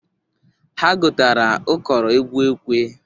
Ha gotara ụkọrọ egwu ekwe.